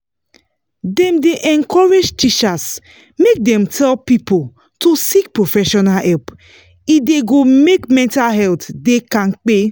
dem dey encourage teachers make dem tell people to seek professional help e da go make mental health da kampe